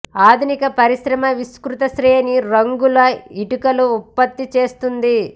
ఆధునిక పరిశ్రమ విస్తృత శ్రేణి రంగుల ఇటుకలు ఉత్పత్తి చేస్తుంది